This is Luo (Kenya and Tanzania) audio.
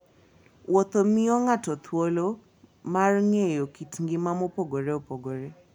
Wuotho miyo ng'ato thuolo mar ng'eyo kit ngima mopogore opogore.